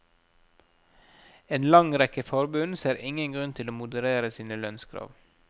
En lang rekke forbund ser ingen grunn til å moderere sine lønnskrav.